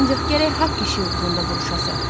Ancaq gərək haqq işi uğrunda vuruşasan.